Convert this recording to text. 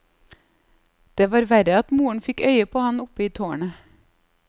Det var verre at moren fikk øye på han oppe i tårnet.